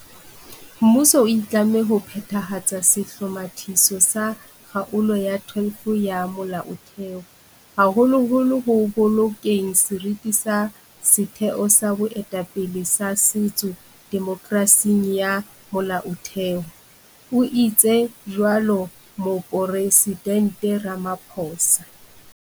Mmuso o itlamme ho phethahatsa sehlomathiso sa Kgaolo ya 12 ya Molaothe ho, haholoholo ho bolokeng seriti sa setheo sa boetapele ba setso demokerasing ya Molaotheho, o itse jwalo Moporesidente Ramaphosa.